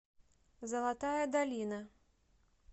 золотая долина